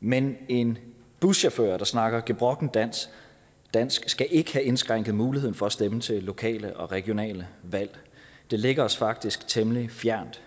men en buschauffør der snakker gebrokkent dansk dansk skal ikke have indskrænket muligheden for at stemme til lokale og regionale valg det ligger os faktisk temmelig fjernt